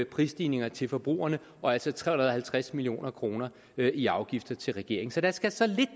prisstigninger til forbrugerne og altså tre hundrede og halvtreds million kroner i afgifter til regeringen så der skal så lidt